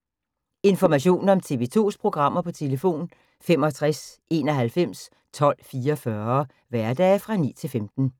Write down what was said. Information om TV 2's programmer: 65 91 12 44, hverdage 9-15.